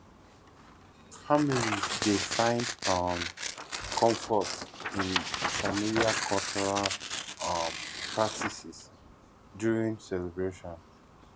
families dey find um comfort in familiar cultural um practices during celebrations